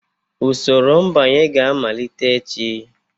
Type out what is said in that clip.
Usoro mbanye ga-amalite echi